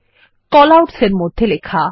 callouts মধ্যে লেখা